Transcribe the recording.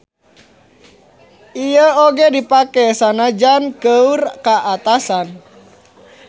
Ieu oge dipake sanajan keur ka atasan.